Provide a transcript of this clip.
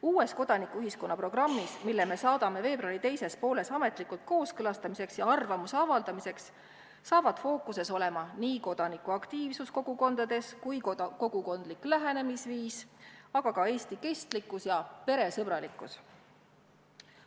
Uues kodanikuühiskonna programmis, mille me saadame veebruari teises pooles ametlikuks kooskõlastamiseks ja arvamuse avaldamiseks, saavad fookuses olema nii kodanikuaktiivsus kogukondades kui ka kogukondlik lähenemisviis, aga ka Eesti kestlikkus ja peresõbralikkus.